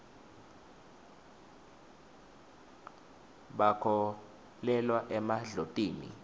bakholelwa emadlotini